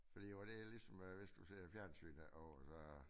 Fordi jeg var lidt ligesom øh hvis du ser fjernsynet og så